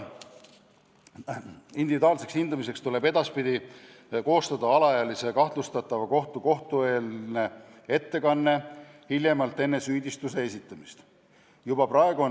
Individuaalseks hindamiseks tuleb edaspidi koostada alaealise kahtlustatava kohta kohtueelne ettekanne hiljemalt enne süüdistuse esitamist.